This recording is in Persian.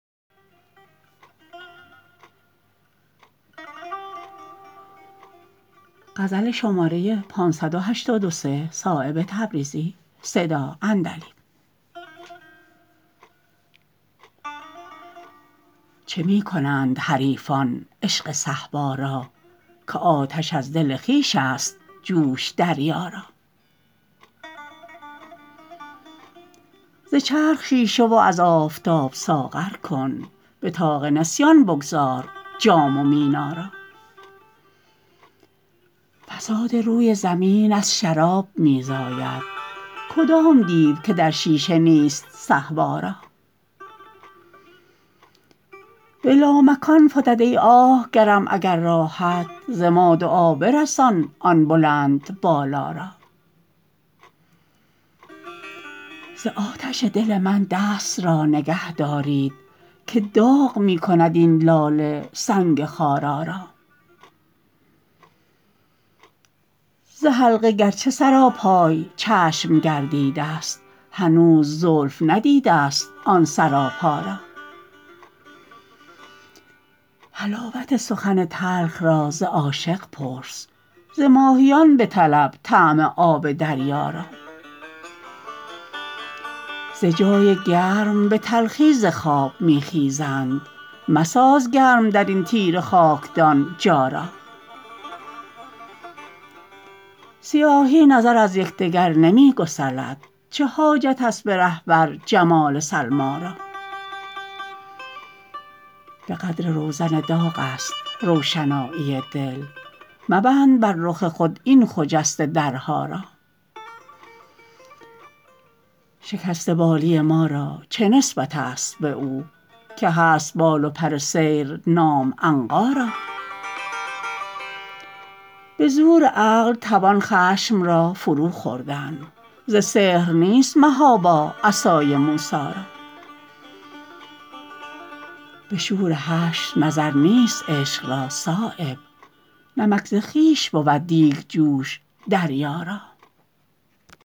چه می کنند حریفان عشق صهبا را که آتش از دل خویش است جوش دریا را ز چرخ شیشه و از آفتاب ساغر کن به طاق نسیان بگذار جام و مینا را فساد روی زمین از شراب می زاید کدام دیو که در شیشه نیست صهبا را به لامکان فتد ای آه گرم اگر راهت ز ما دعا برسان آن بلند بالا را ز آتش دل من دست را نگه دارید که داغ می کند این لاله سنگ خارا را ز حلقه گرچه سراپای چشم گردیده است هنوز زلف ندیده است آن سراپا را حلاوت سخن تلخ را ز عاشق پرس ز ماهیان بطلب طعم آب دریا را ز جای گرم به تلخی ز خواب می خیزند مساز گرم درین تیره خاکدان جا را سیاهی نظر از یکدگر نمی گسلد چه حاجت است به رهبر جمال سلمی را به قدر روزن داغ است روشنایی دل مبند بر رخ خود این خجسته درها را شکسته بالی ما را چه نسبت است به او که هست بال و پر سیر نام عنقا را به زور عقل توان خشم را فرو خوردن ز سحر نیست محابا عصای موسی را به شور حشر نظر نیست عشق را صایب نمک ز خویش بود دیگجوش دریا را